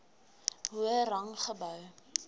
hoër rang gehou